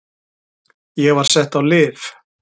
Ég var sett á lyf.